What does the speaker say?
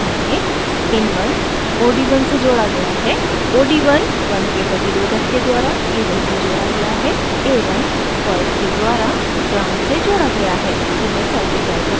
इस परिक्षण में